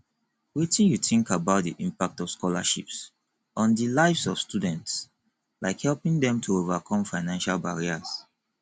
wetin you think about di impact of scholarships on di lives of students like helping dem to overcome financial barriers